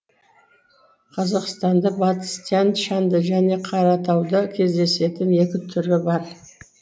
қазақстанда батыс тянь шаньда және қаратауда кездесетін екі түрі бар